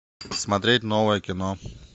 смотреть новое кино